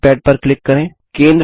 drawing pad पर click करें